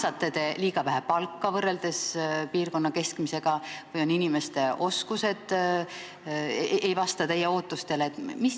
Kas te maksate liiga vähe palka võrreldes piirkonna keskmisega või inimeste oskused ei vasta teie ootustele?